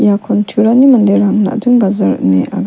iakon turani manderang najing bajar ine aga--